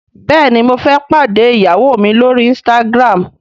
béèni mo fé pàdé ìyàwó mí l'ori Instagram.